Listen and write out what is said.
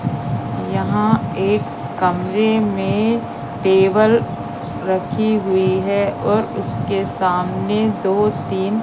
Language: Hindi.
यहां एक कमरे में टेबल रखी हुई है और उसके सामने दो तीन--